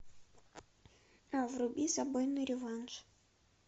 вруби забойный реванш